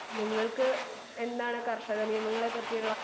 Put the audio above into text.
speaker 2 നിങ്ങൾക്ക് എന്താണ് കർഷക നിയമങ്ങളെ പറ്റിയുള്ള